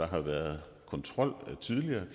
har været kontrol